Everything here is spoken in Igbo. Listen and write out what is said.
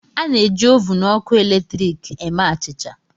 A na-eji ovun ọkụ eletrik eme achịcha.